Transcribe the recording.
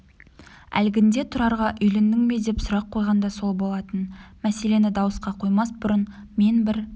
әлгінде тұрарға үйлендің бе деп сұрақ қойған да сол болатын мәселені дауысқа қоймас бұрын мен бір